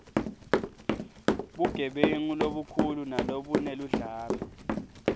bugebengu lobukhulu nalobuneludlame